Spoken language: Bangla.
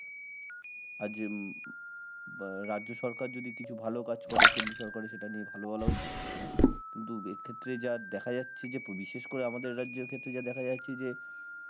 আর যে হম বা রাজ্য সরকার যদি কিছু ভালো কাজ করে, কেন্দ্রীয় সরকারের সেটা নিয়ে ভালো বলা উচিত. কিন্তু এক্ষেত্রে যা দেখা যাচ্ছে যে বিশেষ করে আমাদের রাজ্যের ক্ষেত্রে যা দেখা যাচ্ছে যে